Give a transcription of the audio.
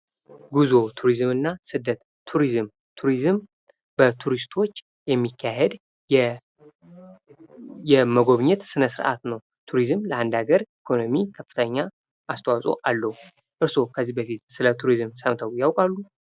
ጉዞ ቱሪዝምና ስደት ቱሪዝም ቱሪዝም በቱሪስቶች የሚካሄድ የመጎብኘት ስነስርዓት ነው። ቱሪዝም ለአንድ ሀገር ኢኮኖሚ ከፍተኛ አስተዋጽኦ አለው። እርስዎ ከዚህ በፊት ስለ ቱሪዝም ሰምተው ያውቃሉ?